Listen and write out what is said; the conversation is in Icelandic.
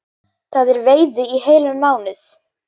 Það er veiði í heilan mánuð